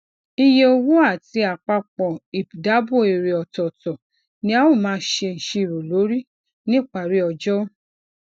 iye owo ati apapo ipdabo ere otootọ ni a o maa se iṣiro lori nipari ojo